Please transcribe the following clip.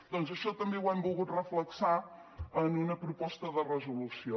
doncs això també ho hem volgut reflectir en una proposta de resolució